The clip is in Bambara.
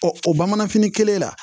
Ɔ o bamanfini kelen la